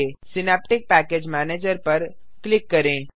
synaptic package manager पर click करें